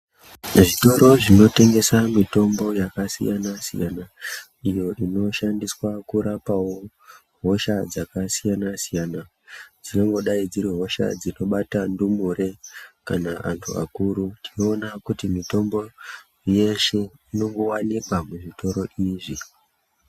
Zvitoro zvinotengesa Mitombo yakasiyana-siyana, iyo inoshandiswa kurapawo hosha dzakasiyana-siyana, dzingangodai dziri hosha dzinobata ndumure ,kana kuti antu akuru .Tinoona kuti mitombo yeshe, inongowanikwa muzvitoro izvi .